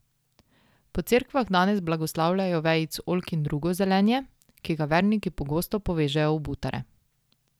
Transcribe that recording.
Po cerkvah danes blagoslavljajo vejic oljk in drugo zelenje, ki ga verniki pogosto povežejo v butare.